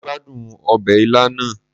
Mo gbadun obe ila naa